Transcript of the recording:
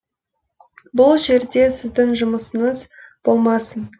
бұл жерде сіздің жұмысыңыз болмасын